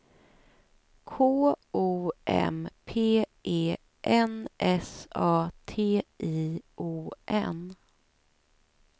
K O M P E N S A T I O N